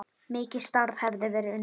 Mikið starf hefði verið unnið.